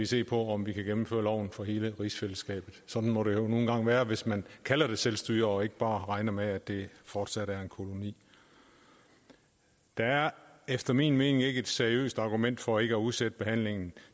se på om vi kan gennemføre loven for hele rigsfællesskabet sådan må det nu engang være hvis man kalder det selvstyre og ikke bare regner med at det fortsat er en koloni der er efter min mening ikke et seriøst argument for ikke at udsætte behandlingen